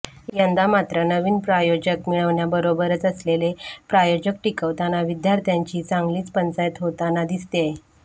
यंदा मात्र नवीन प्रायोजक मिळवण्याबरोबरच असलेले प्रायोजक टिकवताना विद्यार्थ्यांची चांगलीच पंचाईत होताना दिसतेय